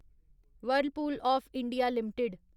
Whirlpool of India limited